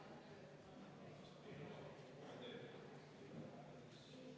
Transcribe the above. Ma enne ütlesin teile valesti.